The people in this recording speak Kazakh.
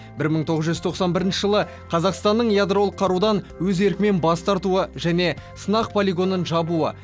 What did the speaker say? бір мың тоғыз жүз тоқсан бірінші жылы қазақстанның ядролық қарудан өз еркімен бас тартуы және сынақ полигонын жабуы